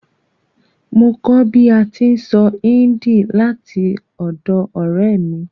Mo kó bi a ti n sọ Hindi látọ̀dọ̀ ọ̀rẹ́ mi